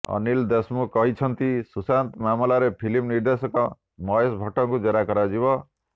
ଅନିଲ୍ ଦେଶମୁଖ କହିଛନ୍ତି ସୁଶାନ୍ତ ମାମଲାରେ ଫିଲ୍ମ ନିର୍ଦ୍ଦେଶକ ମହେଶ ଭଟ୍ଟଙ୍କୁ ଜେରା କରାଯିବ